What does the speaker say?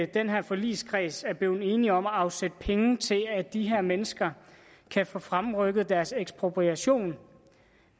den her forligskreds er blevet enig om at afsætte penge til at de her mennesker kan få fremrykket deres ekspropriation